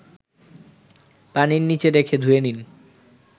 পানির নিচে রেখে ধুয়ে নিন